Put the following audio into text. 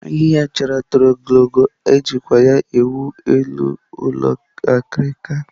Ahịhịa achara toro ogologo, e jikwa ya ewu elu ụlọ akirika.